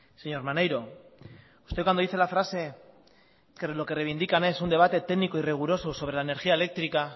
señor maneiro usted cuando dice la frase que lo que reivindican es un debate técnico y riguroso sobre la energía eléctrica